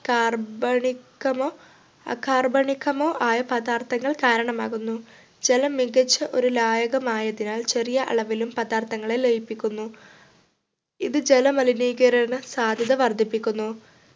കാർബണികമോ അകാർബണികമോ ആയ പദാർത്ഥങ്ങൾ കാരണമാകുന്നു ജലം മികച്ച ഒരു ലായകം ആയതിനാൽ ചെറിയ അളവിലും പദാർത്ഥങ്ങളെ ലയിപ്പിക്കുന്നു. ഇത് ജലമലിനീകരണ സാധ്യത വർദ്ധിപ്പിക്കുന്നു